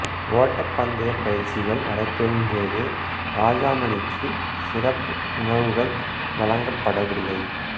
ஓட்டப் பந்தயப் பயிற்சிகள் நடைபெறும் போது ராஜாமணிக்கு சிறப்பு உணவுகள் வழங்கப் படவில்லை